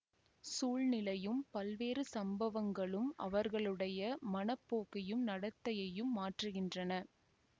சூழ்நிலையும் பல்வேறு சம்பவங்களும் அவர்களுடைய மன போக்கையும் நடத்தையையும் மாற்றுகின்றன